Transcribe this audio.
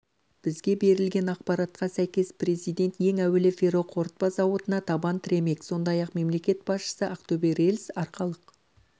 бізге берілген ақпаратқа сйкес президент ең әуелі ферроқорытпа зауытына табан тіремек сондай-ақ мемлекет басшысы ақтөбе рельс-арқалық